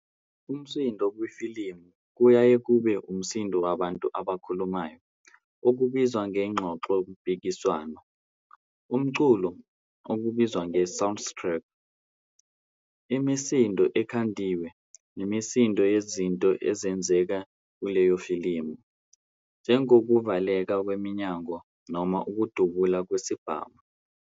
Umsindo kwifilimu kuyaye kube umsindo wabantu abakhulumayo, okubizwa ngengxoxompikiswano, umculo, okubizwa nge "soundtrack", imisindo ekhandiwe, imisindo yezinto ezenzeka kuleyofilimu, njengokuvaleka kweminyango noma ukudubula kwezibhamu.